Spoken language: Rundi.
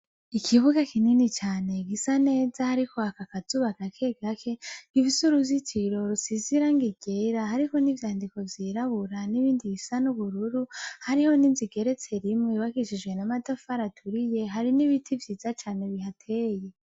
Ikibuga kinini cane, gisa neza hariko hak'akazuba gakegake, gifise uruzitiro rusize irangi ryera, hariho nivyandiko vyirabura n' ibindi bisa n'ubururu, hariho n' inz' igeretse rimwe yubakishijwe n amatafar'aturiye, hariho n ibiti vyiza cane bihateye.